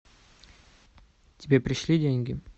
тебе пришли деньги